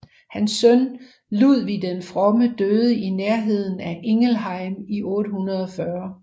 Hans søn Ludvig den Fromme døde i nærheden af Ingelheim i 840